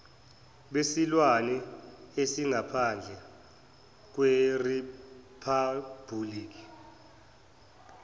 besilwane esingaphandle kweriphabhuliki